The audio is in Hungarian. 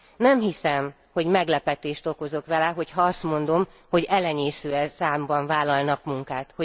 Nem hiszem, hogy meglepetést okozok vele, hogy ha azt mondom, hogy elenyésző számban vállalnak munkát.